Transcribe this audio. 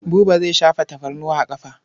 Buba zai shafa tafarnuwa a ƙafa.